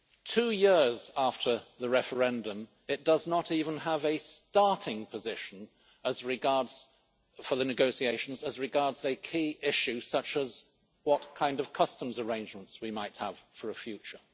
Two years after the referendum, it does not even have a starting position for the negotiations as regards a key issue such as what kind of customs arrangements we might have for a future.